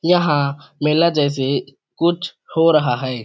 यहाँ मेला जैसे कुछ हो रहा है।